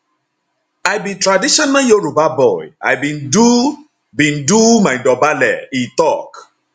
i be traditional yoruba boy i bin do bin do my dobale e tok